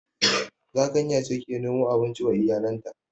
Zakanya ce ke nemo abinci wa iyalanta